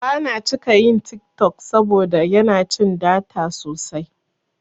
Bana cika yin TikTok saboda yana cin data sosai.